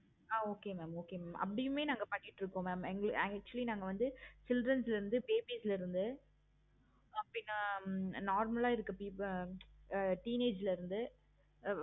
ஆஹ் okay mam okay அப்படியும் நாங்க பண்ணிட்டு இருக்கோம். actually நாங்க வந்து chilren's ல இருந்து babies ல இருந்து normal ஆஹ் இருக்க people ஆஹ் teenage ல இருந்து ஹம்